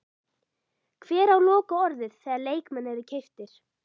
Hver á lokaorðið þegar leikmenn eru keyptir?